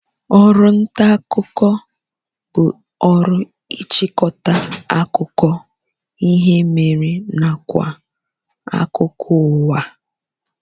Oru nta akuko bu oru ichikota akuko ihe mere nakwa akuko uwa